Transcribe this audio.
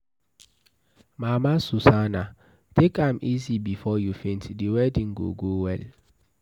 Mama Susanna, take am easy before you faint, the wedding go go well.